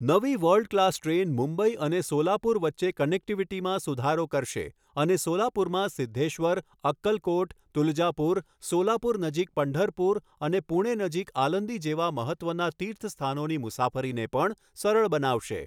નવી world class train Mumbai અને સોલાપુર વચ્ચે કનેક્ટિવિટીમાં સુધારો કરશે અને સોલાપુરમાં સિદ્ધેશ્વર, અક્કલકોટ, તુલજાપુર, સોલાપુર નજીક પંઢરપુર અને પૂણે નજીક આલંદી જેવા મહત્ત્વના તીર્થસ્થાનોની મુસાફરીને પણ સરળ બનાવશે.